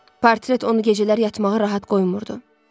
Portret onu gecələr yatmağa rahat qoymurdu.